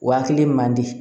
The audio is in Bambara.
Hakili man di